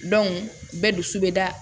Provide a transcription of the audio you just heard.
bɛɛ dusu bɛ da